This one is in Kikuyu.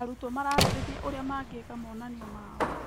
Arutwo mararĩrĩria ũrĩa mangĩka monanio mao.